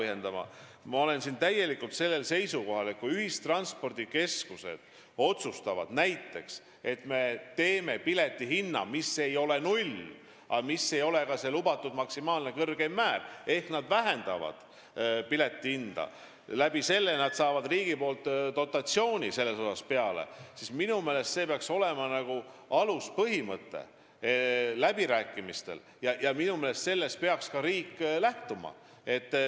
Ma olen täielikult sellel seisukohal, et kui ühistranspordikeskused otsustavad kehtestada pileti hinna, mis ei ole null, aga mis ei ole ka lubatud kõrgeima tasemega, ehk kui nad vähendavad pileti hinda ning saavad selle arvel riigilt dotatsiooni, siis peaks see olema aluspõhimõte läbirääkimistel – sellest peaks ka riik lähtuma.